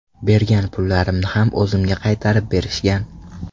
Bergan pullarimni ham o‘zimga qaytarib berishgan.